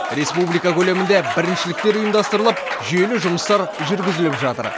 республика көлемінде біріншіліктер ұйымдастырылып жүйелі жұмыстар жүргізіліп жатыр